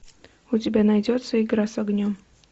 у тебя найдется игра с огнем